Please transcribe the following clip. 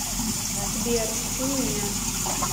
сбер и меня